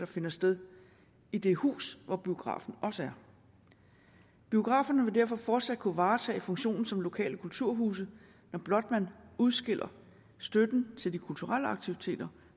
finder sted i det hus hvor biografen også er biograferne vil derfor fortsat kunne varetage funktionen som lokale kulturhuse når blot man udskiller støtten til de kulturelle aktiviteter